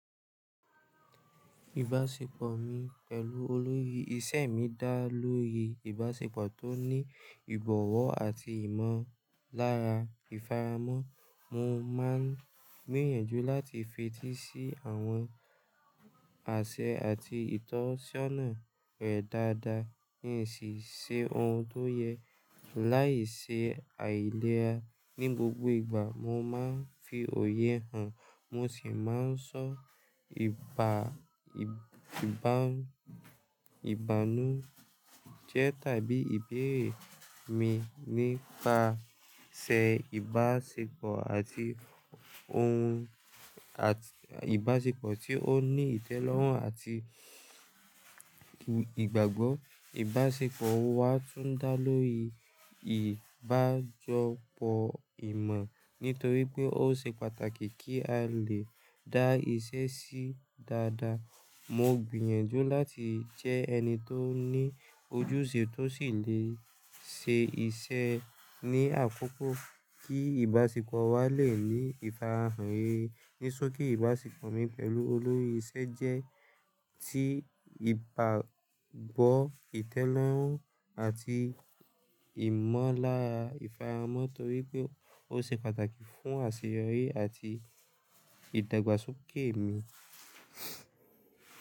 Ìbáṣepọ̀ mi pẹ̀lú olórí iṣẹ́ mi dá lórí ìbáṣepọ̀ tó ní ìbọ̀wọ̀ àti ìmọ̀lára ìfaramọ́. Mo máa ń gbìyànjú láti fetí sí àwọn àṣẹ àti ìtọ́sọ́nà rẹ̀ dáadáa, ní ìsì ṣe ohun tó yẹ, láì ṣe àìlera ní gbogbo ìgbà. Mo máa ń fi òye hàn, mo sì máa ń sọ ìbànújẹ́ tàbí ìbéèrè mi nípasẹ̀ ìbáṣepọ̀ àti ohun, àti ìbáṣepọ̀ tí ó ní ìtẹ́lọ́rùn àti ìgbàgbọ́. Ìbáṣepọ̀ wa tún dá lórí ìbájọpọ̀ ìmọ̀, nítorí pé ó ṣe pàtàkì kí a lè dá iṣẹ́ sí dáadáa. Mo gbìyànjú láti jẹ́ ẹni tó ní ojúṣe tó sì lè ṣe iṣẹ́ ní àkókò kí ìbáṣepọ̀ wa lè ní ìfarahàn rere. Ní sóki ìbáṣepọ̀ mi pẹ̀lú olórí iṣẹ́ jẹ́ ti ìgbàgbọ́, ìtẹ́lọ́rùn àti ìmọ̀lára ìfaramọ́ torí pé ó ṣe pàtàkì fún àṣeyọrí àti ìdàgbàsókè mi.